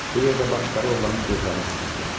Bu yerdə baxışları oğlanın gözlərinə sataşdı.